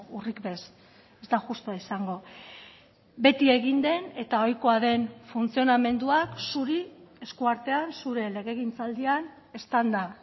urrik ez ez da justua izango beti egin den eta ohikoa den funtzionamenduak zuri eskuartean zure legegintzaldian eztanda